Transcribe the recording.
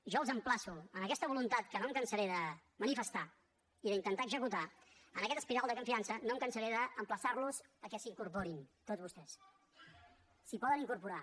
jo els emplaço amb aquesta voluntat que no em cansaré de manifestar i d’intentar executar en aquesta espiral de confiança no em cansaré d’emplaçar los que s’hi incorporin tots vostès s’hi poden incorporar